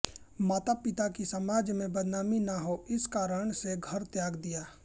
माता पिता की समाज में बदनामी न हो इस कारण से घर त्याग दिया